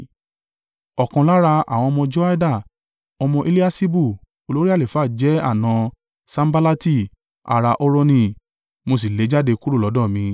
Ọ̀kan lára àwọn ọmọ Joiada, ọmọ Eliaṣibu olórí àlùfáà jẹ́ àna Sanballati ará a Horoni. Mo sì lé e jáde kúrò lọ́dọ̀ mi.